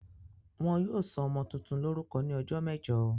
Wọn yóò sọ ọmọ tuntun lórúkọ ní ọjọ́ mẹ́jọ.